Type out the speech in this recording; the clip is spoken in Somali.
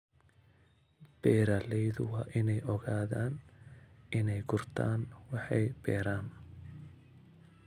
Beeraleydu waa inay ogaadaan inay gurtaan waxay beeraan.